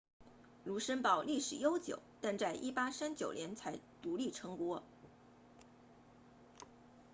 卢森堡历史悠久但在1839年才独立成国